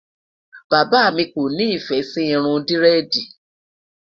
bàbá mí kò nifẹ Si Irun diredi